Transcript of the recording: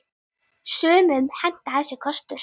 Sumum hentar þessi kostur.